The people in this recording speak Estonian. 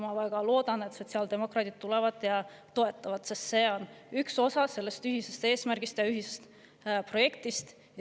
Ma väga loodan, et sotsiaaldemokraadid tulevad ja toetavad seda, sest see on üks osa sellest ühisest eesmärgist ja ühisest projektist.